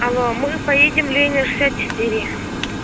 алло мы поедем ленина шестьдесят четыре